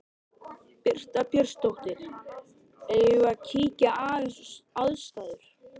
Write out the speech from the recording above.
Birta Björnsdóttir: Eigum við að kíkja aðeins á aðstæður?